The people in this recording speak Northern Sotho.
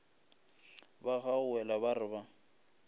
ba gaugela ba re ba